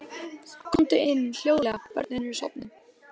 Annað prótín er líka nauðsynlegt til þess að mjólkursykur nýtist.